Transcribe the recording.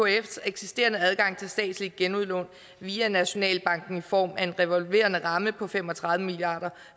ekf’s eksisterende adgang til statslige genudlån via nationalbanken i form af en revolverende ramme på fem og tredive milliard